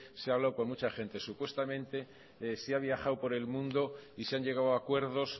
se ha hablado con mucha gente supuestamente se ha viajado por el mundo y se han llegado a acuerdos